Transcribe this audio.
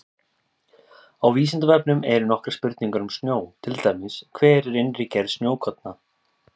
Á Vísindavefnum eru nokkrar spurningar um snjó, til dæmis: Hver er innri gerð snjókorna?